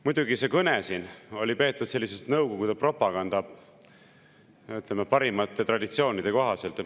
Muidugi, see kõne siin oli peetud Nõukogude propaganda parimate traditsioonide kohaselt.